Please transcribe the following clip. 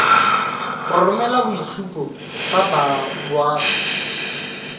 go romela boitshupo ba boagi